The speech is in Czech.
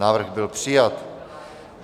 Návrh byl přijat.